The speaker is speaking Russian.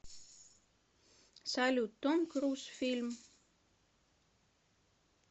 салют том круз фильм